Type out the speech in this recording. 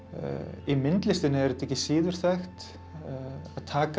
í myndlistinni er þetta ekki síður þekkt að taka